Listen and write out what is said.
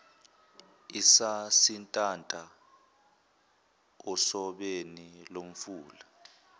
esasintanta osebeni lomfula